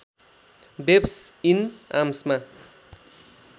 babes in आर्म्समा